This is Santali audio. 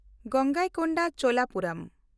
ᱜᱟᱝᱜᱚᱭᱠᱳᱱᱰᱟ ᱪᱳᱞᱟᱯᱩᱨᱚᱢ